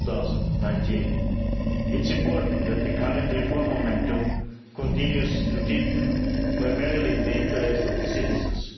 2019. It's important that the current reform momentum continues to deepen, primarily in the interests of the citizens.